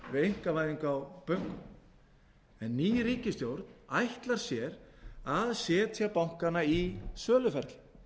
við einkavæðingu á bönkum en ný ríkisstjórn ætlar sér að setja bankana í söluferli